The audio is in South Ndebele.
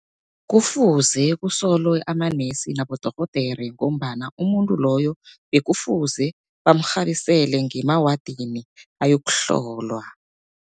Kufuze kusolwe amanesi nabodorhodere, ngombana umuntu loyo bekufuze bamrhabisele ngemawadini ayokuhlolwa.